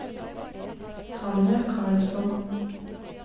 Tanja Karlsson